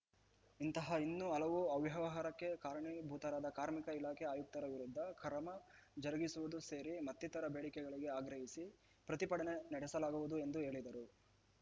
ಇಂತಹ ಇನ್ನು ಹಲವು ಅವ್ಯವಹಾರಕ್ಕೆ ಕಾರಣಿಭೂತರಾದ ಕಾರ್ಮಿಕ ಇಲಾಖೆ ಆಯುಕ್ತರ ವಿರುದ್ಧ ಕರ್ಮ ಜರುಗಿಸುವುದು ಸೇರಿ ಮತ್ತಿತರ ಬೇಡಿಕೆಗಳಿಗೆ ಆಗ್ರಹಿಸಿ ಪ್ರತಿಭಟನೆ ನಡೆಸಲಾಗುವುದು ಎಂದು ಹೇಳಿದರು